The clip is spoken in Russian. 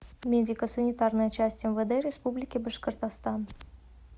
медико санитарная часть мвд республики башкортостан